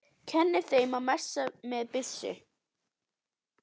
Kenni þeim að messa með byssu?